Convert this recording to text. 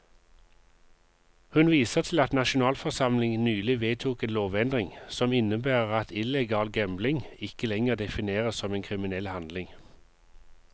Hun viser til at nasjonalforsamlingen nylig vedtok en lovendring, som innebærer at illegal gambling ikke lenger defineres som en kriminell handling.